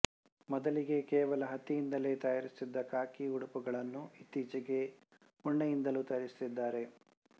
ಮೊದಲಿಗೆ ಕೇವಲ ಹತ್ತಿಯಿಂದಲೇ ತಯಾರಿಸುತ್ತಿದ್ದ ಖಾಕಿ ಉಡುಪುಗಳನ್ನು ಇತ್ತೀಚೆಗೆ ಉಣ್ಣೆಯಿಂದಲೂ ತಯಾರಿಸುತ್ತಿದ್ದಾರೆ